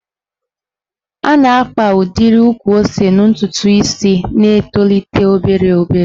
A na-akpa udiri ukwu ose n'ntụtụ isi na-etolite obere obere.